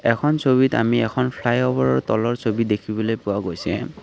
এইখন ছবিত আমি এখন ফ্লাইঅভাৰৰ তলৰ ছবি দেখিবলৈ পোৱা গৈছে।